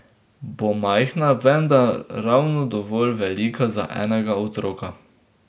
Bo majhna, vendar ravno dovolj velika za enega otroka.